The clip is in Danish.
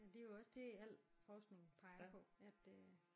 Det er jo også det al forskning peger på at øh